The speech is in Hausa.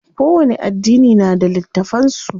Kowani addini na da littafan su.